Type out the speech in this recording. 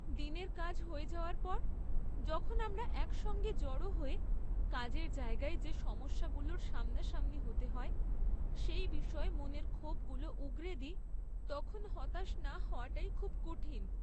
দিনের কাজ হয়ে যাওয়ার পর যখন আমরা একসঙ্গে জড়ো হয়ে, কাজের জায়গায় যে সমস্যাগুলোর সামনাসামনি হতে হয় সেই বিষয়ে মনের ক্ষোভগুলো উগরে দিই, তখন হতাশ না হওয়াটাই খুব কঠিন!